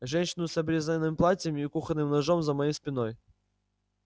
женщину с обрезанным платьем и кухонным ножом за моей спиной